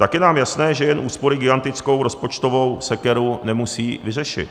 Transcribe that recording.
Tak je nám jasné, že jen úspory gigantickou rozpočtovou sekeru nemusí vyřešit.